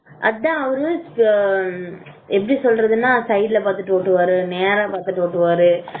அதான் அவரு எப்படி சொல்றதுன்னா சைடுல பாத்துட்டு ஓட்டுவரு நேரா நேரா பாத்துட்டு ஓட்டுவாரு